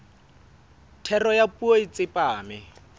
thero ya puo e tsepame